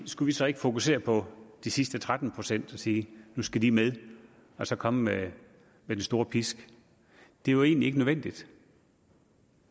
skulle vi så ikke fokusere på de sidste tretten procent og sige at nu skal de med og så komme med den store pisk det er jo egentlig ikke nødvendigt